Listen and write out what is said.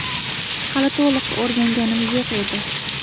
Hali to‘liq o‘rganganim yo‘q edi.